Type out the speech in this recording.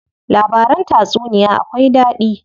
Labaran tatsuniya akwai daɗi.